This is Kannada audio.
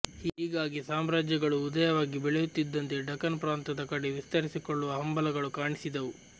ಹೀಗಾಗಿ ಸಾಮ್ರಾಜ್ಯಗಳು ಉದಯವಾಗಿ ಬೆಳೆಯುತ್ತಿದ್ದಂತೆ ದಖನ್ ಪ್ರಾಂತದ ಕಡೆ ವಿಸ್ತರಿಸಿಕೊಳ್ಳುವ ಹಂಬಲಗಳು ಕಾಣಿಸಿದವು